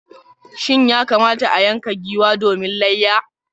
Shin ya kamata a yanka giwa domin layya?